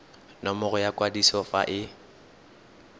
nomoro ya kwadiso fa e